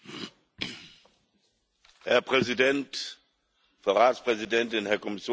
Herr Präsident, Frau Ratspräsidentin, Herr Kommissionspräsident, Kolleginnen und Kollegen!